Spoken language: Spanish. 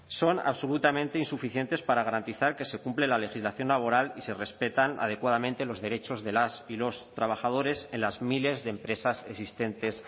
son absolutamente insuficientes para garantizar que se cumple la legislación laboral y se respetan adecuadamente los derechos de las y los trabajadores en las miles de empresas existentes